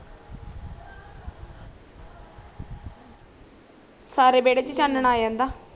ਸਾਰੇ ਬੇਡ਼ੇ ਚ ਚਾਨਣਾ ਆ ਜਾਂਦਾ